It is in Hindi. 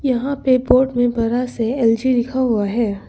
यहां पे बोर्ड में बड़ा से एल_जी लिखा हुआ है।